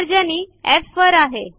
तर्जनी एफ वर आहे